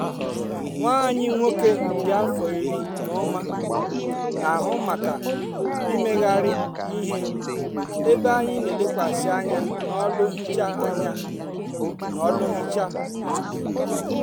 nwa anyị nwoke dị afọ iri na ụma na-ahụ maka imegharị ihe ebe anyị n'elekwasị anya n'ọlụ nhicha anya n'ọlụ nhicha izugbe.